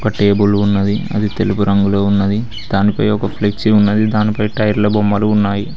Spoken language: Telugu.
ఒక టేబుల్ ఉన్నది అది తెలుపు రంగులో ఉన్నది దానిపై ఒక ఫ్లెక్సీ ఉన్నది దానిపై టైర్ల బొమ్మలు ఉన్నాయి.